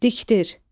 Dikdir.